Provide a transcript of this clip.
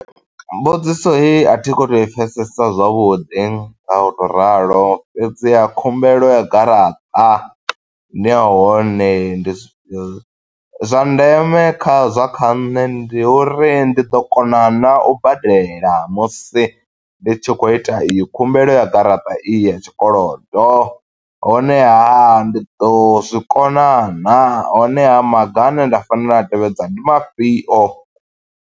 Mbudziso heyi a thi kho to i pfesesa zwavhuḓi nga u to ralo. Fhedziha khumbelo ya garaṱa, ndi ya hone ndi zwi fhio. Zwa ndeme kha zwa kha nṋe ndi uri ndi ḓo kona na u badela musi ndi tshi khou ita i yo khumbelo ya garaṱa iyi ya tshikolodo. Honeha a, ndi ḓo zwikona naa? Honeha, maga ane nda fanela u a tevhedza ndi mafhio?